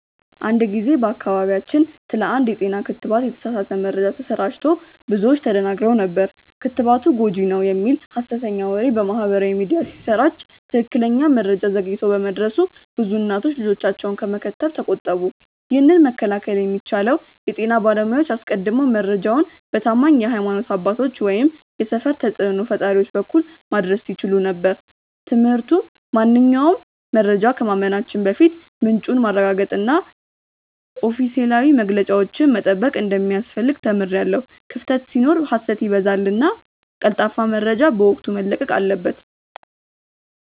አንድ ጊዜ በአካባቢያችን ስለ አንድ የጤና ክትባት የተሳሳተ መረጃ ተሰራጭቶ ብዙዎች ተደናግረው ነበር። ክትባቱ ጎጂ ነው" የሚል ሀሰተኛ ወሬ በማህበራዊ ሚዲያ ሲሰራጭ ትክክለኛ መረጃ ዘግይቶ በመድረሱ ብዙ እናቶች ልጆቻቸውን ከመከተብ ተቆጠቡ። ይህንን መከላከል የሚቻለው የጤና ባለሙያዎች አስቀድመው መረጃውን በታማኝ የሀይማኖት አባቶች ወይም የሰፈር ተጽእኖ ፈጣሪዎች በኩል ማድረስ ሲችሉ ነበር። ትምህርቱ ማንኛውንም መረጃ ከማመናችን በፊት ምንጩን ማረጋገጥና ኦፊሴላዊ መግለጫዎችን መጠበቅ እንደሚያስፈልግ ተምሬያለሁ። ክፍተት ሲኖር ሀሰት ይበዛልና ቀልጣፋ መረጃ በወቅቱ መለቀቅ አለበት።